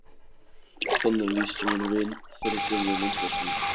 Þannig lýsti minn vin þeirri gömlu myndasmíð.